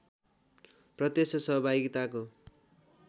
प्रत्यक्ष सहभागिताको